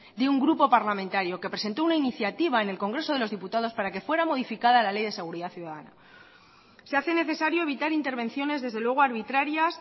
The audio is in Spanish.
de un grupo parlamentario que presentó una iniciativa en el congreso de los diputados para que fuera modificada la ley de seguridad ciudadana se hace necesario evitar intervenciones desde luego arbitrarias